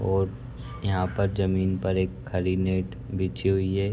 और यहाँ पर जमीन पर एक खाली नेट बिछी हुई है।